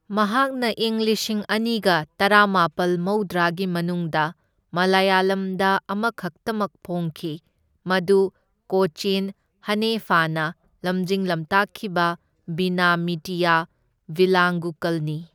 ꯃꯍꯥꯛꯅ ꯏꯪ ꯂꯤꯁꯤꯡ ꯑꯅꯒ ꯇꯔꯥꯃꯥꯄꯜ ꯃꯧꯗ꯭ꯔꯥꯒꯤ ꯃꯅꯨꯡꯗ ꯃꯂꯌꯥꯂꯝꯗ ꯑꯃꯈꯛꯇꯃꯛ ꯐꯣꯡꯈꯤ, ꯃꯗꯨ ꯀꯣꯆꯤꯟ ꯍꯅꯦꯐꯥꯅ ꯂꯝꯖꯤꯡ ꯂꯝꯇꯥꯛꯈꯤꯕ ꯚꯤꯅꯥ ꯃꯤꯇꯤꯌꯥ ꯚꯤꯂꯥꯡꯒꯨꯀꯜꯅꯤ꯫